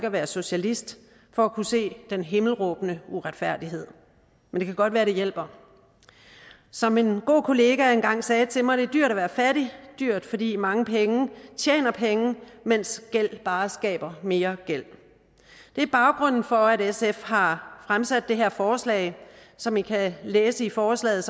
at være socialist for at kunne se den himmelråbende uretfærdighed men det kan godt være at det hjælper som en god kollega engang sagde til mig det er dyrt at være fattig dyrt fordi mange penge tjener penge mens gæld bare skaber mere gæld det er baggrunden for at sf har fremsat det her forslag som i kan læse i forslaget